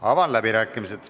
Avan läbirääkimised.